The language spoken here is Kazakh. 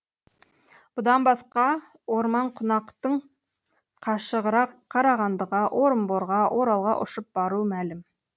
бұдан басқа орманқунақтың қашығырақ қарағандыға орынборға оралға ұшып баруы мәлім